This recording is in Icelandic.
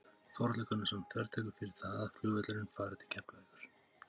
Þórhallur Gunnarsson: Þvertekurðu fyrir það að flugvöllurinn fari til Keflavíkur?